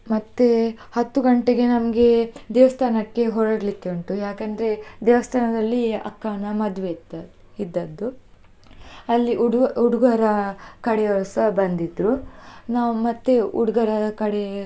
ಮತ್ತೆ ಹತ್ತು ಗಂಟೆಗೆ ನಮ್ಗೆ, ದೇವಸ್ಥಾನಕ್ಕೆ ಹೊರಡಲಿಕ್ಕೆ ಉಂಟು, ಯಾಕಂದ್ರೆ ದೇವಸ್ಥಾನದಲ್ಲಿ ಅಕ್ಕನ ಮದ್ವೆ ಇದ್ದ~ ಇದ್ದದ್ದು, ಅಲ್ಲಿ ಹುಡು~ ಹುಡುಗರ ಕಡೆಯವರುಸ ಬಂದಿದ್ರು, ನಾವು ಮತ್ತೆ ಹುಡುಗರ ಕಡೆ.